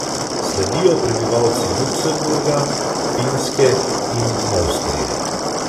Sledijo prebivalci Luksemburga, Finske in Avstrije.